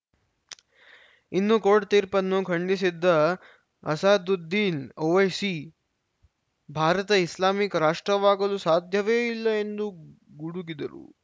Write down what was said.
ಇನ್ನು ಕೋರ್ಟ್‌ ತೀರ್ಪನ್ನು ಖಂಡಿಸಿದ ಅಸಾದುದ್ದೀನ್‌ ಓವೈಸಿ ಭಾರತ ಇಸ್ಲಾಮಿಕ್‌ ರಾಷ್ಟ್ರವಾಗಲು ಸಾಧ್ಯವೇ ಇಲ್ಲ ಎಂದು ಗುಡುಗಿದರು